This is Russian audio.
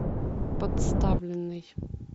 подставленный